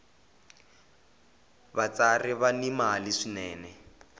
vatsari va ni mali swinene